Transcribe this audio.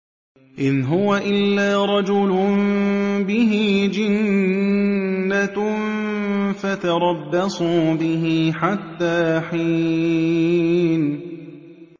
إِنْ هُوَ إِلَّا رَجُلٌ بِهِ جِنَّةٌ فَتَرَبَّصُوا بِهِ حَتَّىٰ حِينٍ